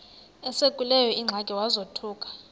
esekuleyo ingxaki wazothuka